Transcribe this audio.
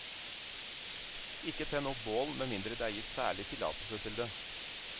Ikke tenn opp bål med mindre det er gitt særlig tillatelse til det.